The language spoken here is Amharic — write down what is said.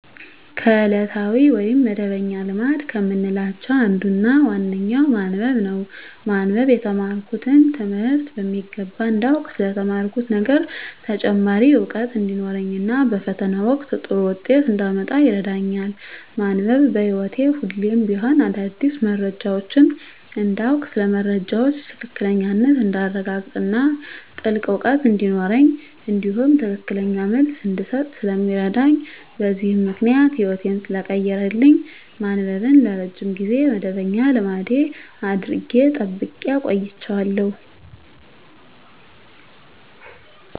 ከዕለታዊ ወይም መደበኛ ልማድ ከምላቸው አንዱና ዋነኛው ማንበብ ነው። ማንበብ የተማርኩትን ትምህርት በሚገባ እንዳውቅ ስለ ተማርኩት ነገር ተጨማሪ እውቀት እንዲኖረኝ እና በፈተና ወቅት ጥሩ ውጤት እንዳመጣ ይረዳኛል። ማንበብ በህይወቴ ሁሌም ቢሆን አዳዲስ መረጃዎችን እንዳውቅ ስለ መረጃዎች ትክክለኛነት እንዳረጋግጥ እና ጥልቅ እውቀት እንዲኖረኝ እንዲሁም ትክክለኛ መልስ እንድሰጥ ስለሚረዳኝ በዚህም ምክንያት ህይወቴን ሰለቀየረልኝ ማንበብን ለረጅም ጊዜ መደበኛ ልማድ አድርጌ ጠብቄ አቆይቸዋለሁ።